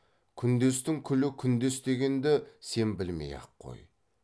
күндестің күлі күндес дегенді сен білмей ақ қой